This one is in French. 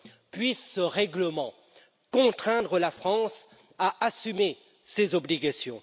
Puisse ce règlement contraindre la France à assumer ses obligations!